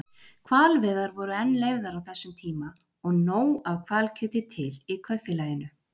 Hvalveiðar voru enn leyfðar á þessum tíma og nóg af hvalkjöti til í Kaupfélaginu.